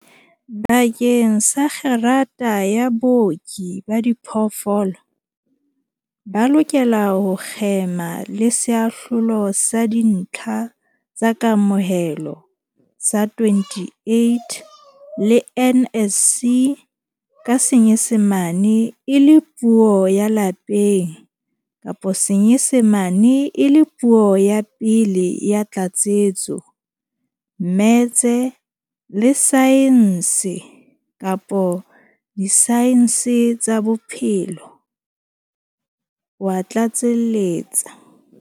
Bakeng sa kgerata ya Booki ba Diphoofolo, ba lokela ho kgema le Seahlolo sa Dintlha tsa Kamohelo sa 28 le NSC ka Senyesemane e le Puo ya Lapeng kapa Senyesemane e le Puo ya Pele ya Tlatsetso, mmetse, le saense kapa disaense tsa bophelo, o a tlatseletsa.